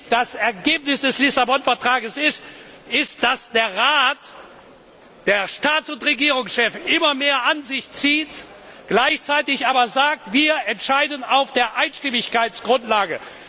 Das Ergebnis des Lissabon Vertrags ist nämlich, dass der Rat der Staats und Regierungschefs immer mehr an sich zieht, gleichzeitig aber sagt Wir entscheiden auf der Einstimmigkeitsgrundlage.